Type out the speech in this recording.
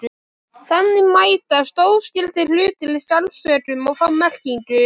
Þannig mætast óskyldir hlutir í skáldsögum og fá merkingu.